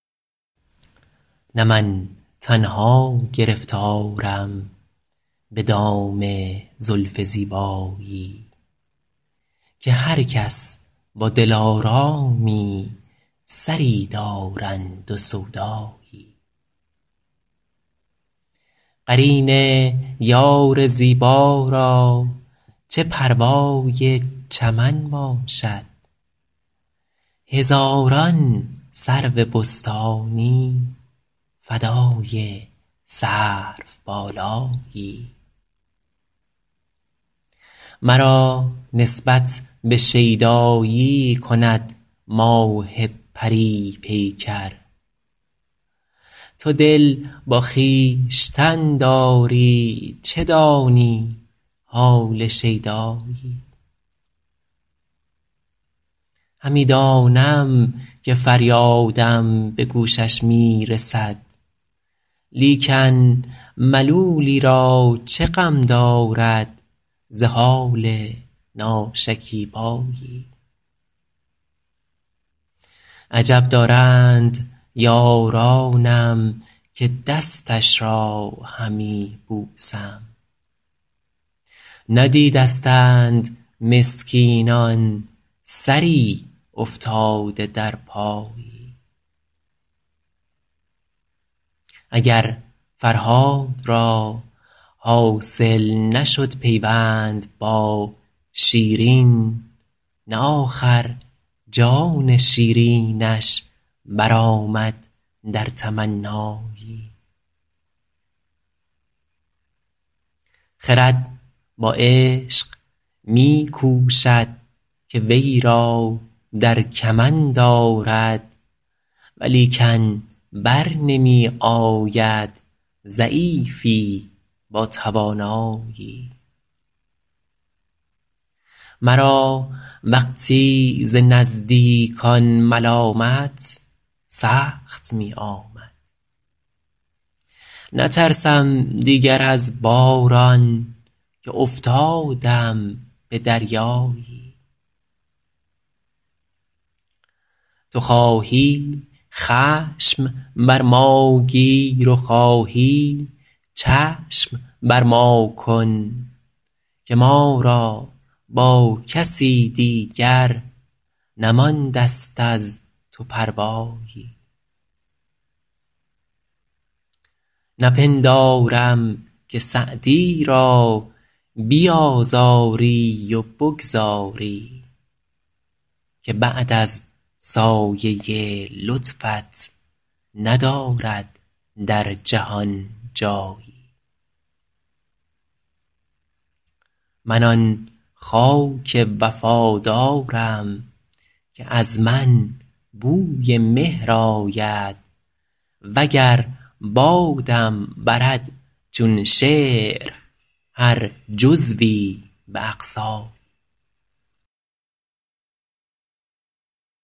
نه من تنها گرفتارم به دام زلف زیبایی که هر کس با دلآرامی سری دارند و سودایی قرین یار زیبا را چه پروای چمن باشد هزاران سرو بستانی فدای سروبالایی مرا نسبت به شیدایی کند ماه پری پیکر تو دل با خویشتن داری چه دانی حال شیدایی همی دانم که فریادم به گوشش می رسد لیکن ملولی را چه غم دارد ز حال ناشکیبایی عجب دارند یارانم که دستش را همی بوسم ندیدستند مسکینان سری افتاده در پایی اگر فرهاد را حاصل نشد پیوند با شیرین نه آخر جان شیرینش برآمد در تمنایی خرد با عشق می کوشد که وی را در کمند آرد ولیکن بر نمی آید ضعیفی با توانایی مرا وقتی ز نزدیکان ملامت سخت می آمد نترسم دیگر از باران که افتادم به دریایی تو خواهی خشم بر ما گیر و خواهی چشم بر ما کن که ما را با کسی دیگر نمانده ست از تو پروایی نپندارم که سعدی را بیآزاری و بگذاری که بعد از سایه لطفت ندارد در جهان جایی من آن خاک وفادارم که از من بوی مهر آید و گر بادم برد چون شعر هر جزوی به اقصایی